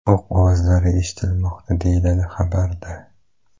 O‘q ovozlari eshitilmoqda, deyiladi xabarda.